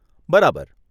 બરાબર !